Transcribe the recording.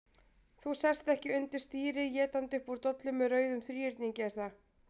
Þú sest ekki undir stýri étandi upp úr dollu með rauðum þríhyrningi, er það?